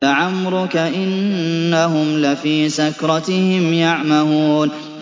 لَعَمْرُكَ إِنَّهُمْ لَفِي سَكْرَتِهِمْ يَعْمَهُونَ